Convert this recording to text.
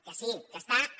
que sí que està en